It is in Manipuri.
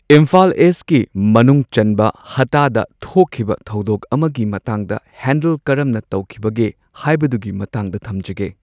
ꯏꯝꯐꯥꯜ ꯏꯁꯀꯤ ꯃꯅꯨꯡ ꯆꯟꯕ ꯍꯠꯇꯥꯗ ꯊꯣꯛꯈꯤꯕ ꯊꯧꯗꯣꯛ ꯑꯃꯒꯤ ꯃꯇꯥꯡꯗ ꯍꯦꯟꯗꯜ ꯀꯔꯝꯅ ꯇꯧꯈꯤꯕꯒꯦ ꯍꯥꯏꯕꯗꯨꯒꯤ ꯃꯇꯥꯡꯗ ꯊꯝꯖꯒꯦ꯫